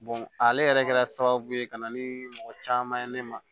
ale yɛrɛ kɛra sababu ye ka na ni mɔgɔ caman ye ne ma